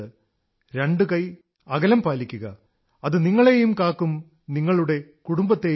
രണ്ടു കൈ അകലംപാലിക്കുക അതു നിങ്ങളെയും കാക്കും നിങ്ങളുടെ കുടുംബത്തെയും കാക്കും